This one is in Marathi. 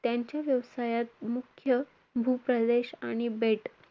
त्यांचे व्यवसायात मुख्य भूप्रदेश आणि बेट,